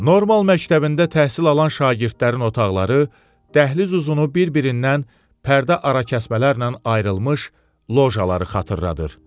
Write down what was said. Normal məktəbində təhsil alan şagirdlərin otaqları dəhliz uzunu bir-birindən pərdə arakəsmələrlə ayrılmış lojaları xatırladır.